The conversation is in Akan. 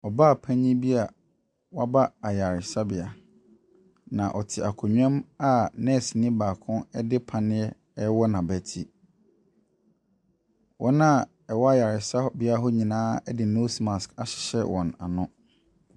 Ɔbaa panyin bi a waba ayaresabea. Na ɔte akonnwa mu a nurseni baako de paneɛ rewɔ n'abeti. Wɔn wɔwɔ ayaresabea hɔ nyinaa de nose marsk ahyehyɛ wɔn ano.